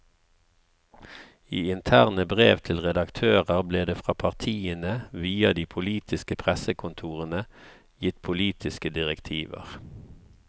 I interne brev til redaktører ble det fra partiene, via de politiske pressekontorene, gitt politiske direktiver.